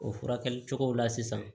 O furakɛli cogow la sisan